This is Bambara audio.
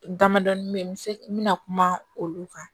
Damadɔnin bɛ yen n bɛ se n bɛna kuma olu kan